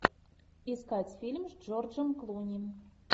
искать фильм с джорджем клуни